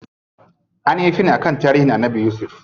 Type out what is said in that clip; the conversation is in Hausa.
Anyi yi fim akan tarihin Annabi yusuf.